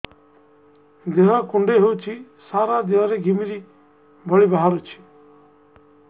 ଦେହ କୁଣ୍ଡେଇ ହେଉଛି ସାରା ଦେହ ରେ ଘିମିରି ଭଳି ବାହାରୁଛି